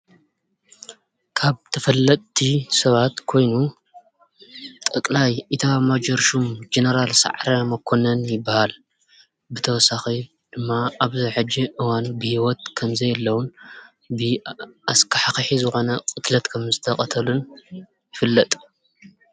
ካብ ተፈለጥቲ ሰባት ኮይኑ ጠቅላይ ኢታማዡር ሽም ጀ ነራል ሰዓረ መኮነን ይበሃል። ብተወሳኺ ድማ ኣብ ሕጂ እዋን ብሂወት ከምዘየለ እውን ብኣስኻሕኻሒ ዝኾነ ቅትለት ከምዝተቀተሉን ይፍለጥ።